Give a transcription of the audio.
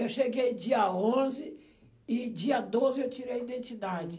Eu cheguei dia onze e dia doze eu tirei a identidade.